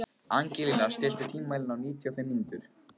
Angelína, stilltu tímamælinn á níutíu og fimm mínútur.